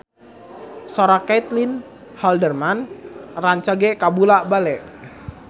Sora Caitlin Halderman rancage kabula-bale